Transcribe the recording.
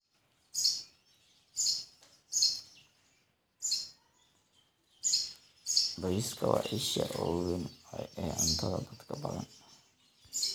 Bariiska waa isha ugu weyn ee cuntada dadka badan.